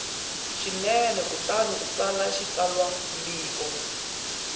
swinene kutani u tsala xitsalwambiko